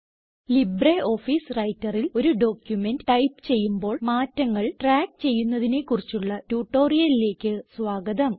LibreOffice Writerൽ ഒരു document type ചെയ്യുമ്പോൾ മാറ്റങ്ങൾ ട്രാക്ക് ചെയ്യുന്നതിനെ കുറിച്ചുള്ള ട്യൂട്ടോറിയലിലേക്ക് സ്വാഗതം